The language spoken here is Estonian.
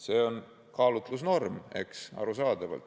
See on kaalutlusnorm, arusaadav.